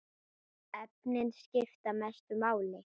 Efnin skipta mestu máli.